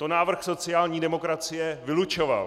To návrh sociální demokracie vylučoval.